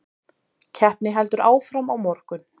Keppni heldur áfram á morgun